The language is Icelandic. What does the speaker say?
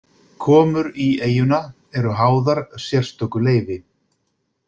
Komur í eyjuna eru háðar sérstöku leyfi.